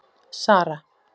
Sara